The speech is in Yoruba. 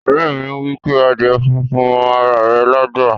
Ore mi wipe adíè fúnfún mọ ara rè lágbá.